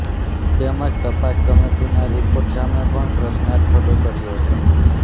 તેમજ તપાસ કમિટીના રિપોર્ટ સામે પણ પ્રશ્નાર્થ ખડો કર્યો હતો